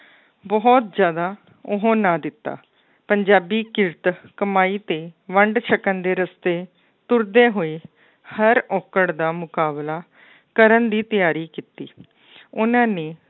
ਬਹੁਤ ਜ਼ਿਆਦਾ ਉਹ ਨਾ ਦਿੱਤਾ ਪੰਜਾਬੀ ਕਿਰਤ ਕਮਾਈ ਤੇ ਵੰਡ ਸਕਣ ਦੇ ਰਸਤੇ ਤੁਰਦੇ ਹੋਏ ਹਰ ਔਕੜ ਦਾ ਮੁਕਾਬਲਾ ਕਰਨ ਦੀ ਤਿਆਰੀ ਕੀਤੀ ਉਹਨਾਂ ਨੇ